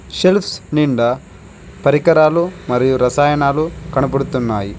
Shelves నిండా పరికరాలు మరియు రసాయనాలు కనబడుతున్నాయి.